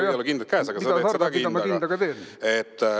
Sul ei ole kindaid käes, aga sa teed seda kindaga.